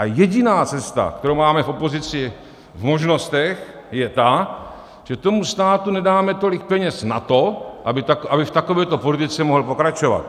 A jediná cesta, kterou máme v opozici v možnostech, je ta, že tomu státu nedáme tolik peněz na to, aby v takovéto politice mohl pokračovat.